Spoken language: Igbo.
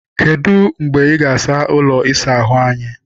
Kedụ mgbe ị ga- asa ụlọ ịsa ahụ anyị?